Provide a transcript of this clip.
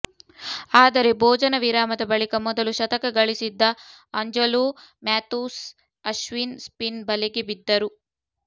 ಆದರೆ ಭೋಜನ ವಿರಾಮದ ಬಳಿಕ ಮೊದಲು ಶತಕ ಗಳಿಸಿದ್ದ ಆಂಜಲೋ ಮ್ಯಾಥ್ಯೂಸ್ ಅಶ್ವಿನ್ ಸ್ಪಿನ್ ಬಲೆಗೆ ಬಿದ್ದರು